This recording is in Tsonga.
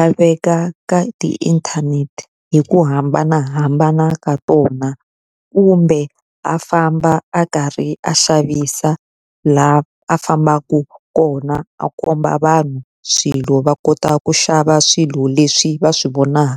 a veka ka ti inthanete hi ku hambanahambana ka tona. Kumbe a famba a karhi a xavisa laha a fambaka kona a komba vanhu swilo va kota ku xava swilo leswi va swi vonaka.